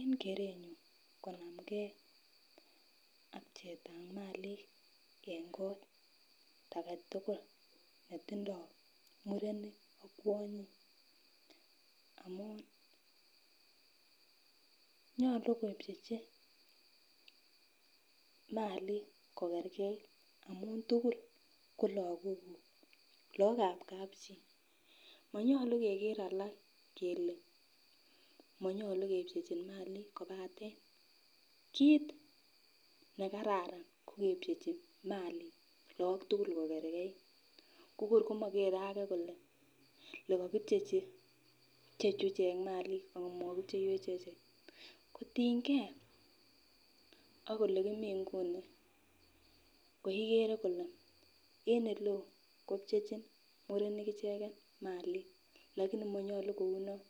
En kerenyun konamgee ak pcheetab malik en kot agetugul netindoo murenik ak kwanyik amun nyolu kepchechi malik kokergeit amun tugul ko lakokuk, laookab kapchi manyolu kerker alak kele manyolu kepchechin malik kobaten kit nekararan ko kepchechi malik laok tugul kokergeit simoker age kole le kokipchechi ichechu i malik amo kipcheiwech achek kotinyinge en ele kimi en inguni ikere ile en eleo kopchechin murenik icheken malik lakini manyolu kou non